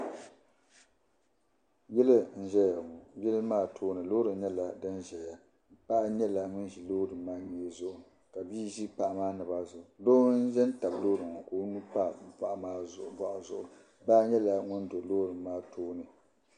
Yili n ʒɛya ŋɔ yili maa too ni lɔɔri nyɛla din ʒɛya paɣa nyala ŋun ʒi lɔɔri maa mŋee zuɣu kabii ʒi paɣa maa naba zuɣu doo n za n tabi lɔɔriŋɔ ka ɔ nuu pa paɣa maa zuɣu baa nyɛla ŋun do lɔɔri maa tooni